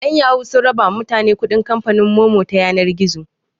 'Yan yahoo sun raba ma mutane kuɗin kamfanin Momo ta yanar gizo.